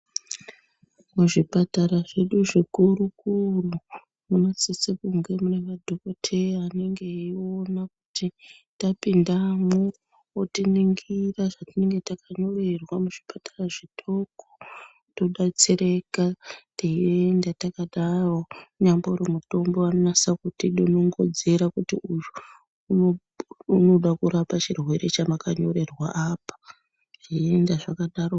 Muzvipatara zvedu zvikuru kuru munosise kunge mune madhokoteya anenge eiona kuti tapindamwo otiningira zvatinenge takanyorerwa muzvipatara zvidoko todetsereka teienda takadaro, munyambori mutombo vanonyaso kutidunungunudzira kuti uyu unoda kurapa chirwere chamakanyorerwa apa zveienda zvakadaro.